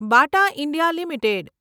બાટા India limited